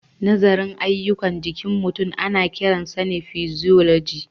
Nazarin ayyukan jikin mutum ana kiransa physiology.